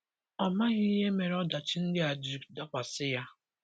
Ọ maghị ihe mere ọdachi ndị a ji dakwasị ya.